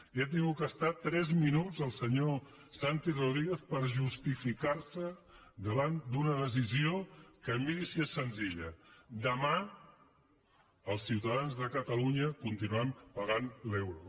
i ha hagut d’estar tres minuts el senyor santi rodríguez per justificar se davant d’una decisió que miri si és senzilla demà els ciutadans de catalunya continuaran pagant l’euro